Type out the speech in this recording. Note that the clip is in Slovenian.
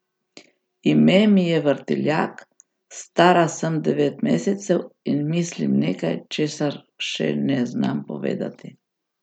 Ime mi je Vrtiljak, stara sem devet mesecev in mislim nekaj, česar še ne znam povedati.